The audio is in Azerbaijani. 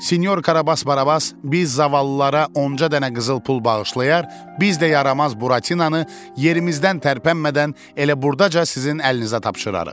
Sinyor Karabas Barabas, biz zavallılara onca dənə qızıl pul bağışlayar, biz də yaramaz Buratinanı yerimizdən tərpənmədən elə burdaca sizin əlinizə tapşırarıq.